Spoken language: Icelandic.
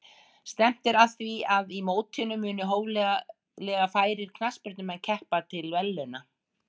Stefnt er að því að í mótinu muni hóflega færir knattspyrnumenn keppa til verðlauna.